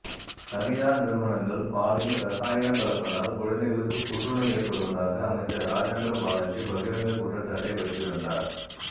தனியார் நிறுவனங்கள் பாலில் ரசாயனம் கலப்பதால் குழந்தைகளுக்கு புற்றுநோய் ஏற்படுவதாக அமைச்சர் ராஜேந்திர பாலாஜி பகிரங்க குற்றச்சாட்டை வைத்திருந்தார்